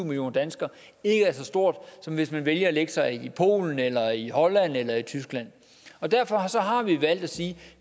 millioner danskere ikke er så stort som hvis man vælger at lægge sig i polen eller i holland eller i tyskland derfor har vi valgt at sige at